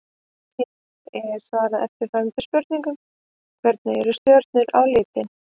Hér er svarað eftirfarandi spurningum: Hvernig eru stjörnur á litinn?